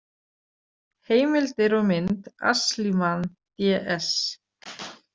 Heimildir og mynd Ashliman, D S